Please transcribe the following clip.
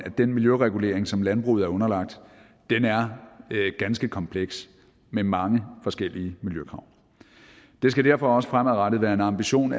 at den miljøregulering som landbruget er underlagt er ganske kompleks med mange forskellige miljøkrav det skal derfor også fremadrettet være en ambition